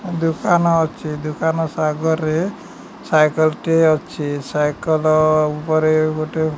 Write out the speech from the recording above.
ଦୁକାନ ଅଛି। ଦୁକାନ ସା ଆଗରେସ ସାଇକଲ ଟିଏ ଅଛି। ସାଇକଲ ଉପରେ ଗୋଟେ --